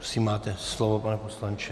Prosím máte slovo, pane poslanče.